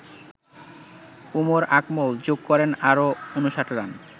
উমর আকমল যোগ করেন আরো ৫৯ রান।